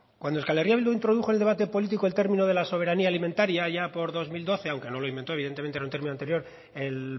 euskal herria bildu introdujo el debate político el término de la soberanía alimentario allá por dos mil doce aunque no lo inventó evidentemente era un término anterior el